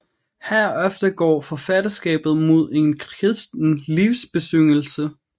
Herefter går forfatterskabet mod en kristen livsbesyngelse